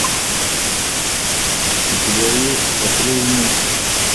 у тебя есть патрульный